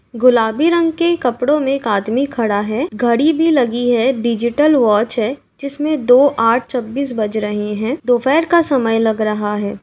गुलाबी रंग के कपड़ो में एक आदमी खड़ा है। घड़ी भी लगी है। डिजिटल वॉच है जिसमें दो आठ छब्बीस बज रहे हैं। दोपहर का समय लग रहा है।